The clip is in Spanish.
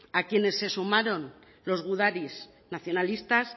a quienes se sumaron los gudaris nacionalistas